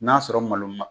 N'a sɔrɔ malo ma